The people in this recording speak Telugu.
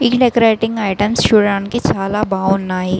ఈ డెకరేటింగ్ ఐటమ్స్ చూడడానికి చాలా బాగున్నాయి.